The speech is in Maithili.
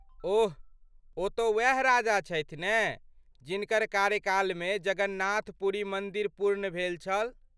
ओह , ओ तँ ओएह राजा छथि ने जिनकर कार्यकाल मे जगन्नाथ पूरी मन्दिर पूर्ण भेल छल.